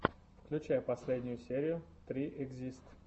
включай последнюю серию три экзист